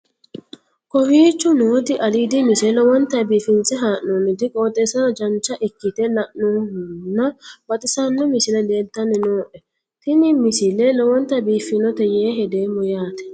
kowicho nooti aliidi misile lowonta biifinse haa'noonniti qooxeessano dancha ikkite la'annohano baxissanno misile leeltanni nooe ini misile lowonta biifffinnote yee hedeemmo yaate